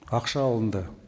ақша алынды